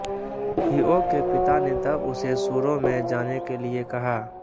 हीओ के पिता ने तब उसे सुरो में जाने के लिए कहा